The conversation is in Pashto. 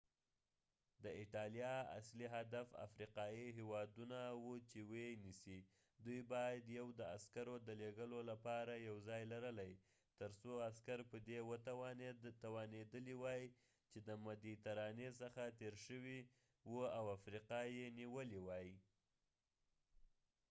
د ایټالیا اصلی هدف افریقایې هیوادونه و چې و یې نیسی دوي باید یو د عسکرو د لیږلو لپاره یو ځای لرلی تر څو عسکر په دي توانیدلی وای چې د مديترانی څخه تیر شوي و او افریقا یې نیولی وای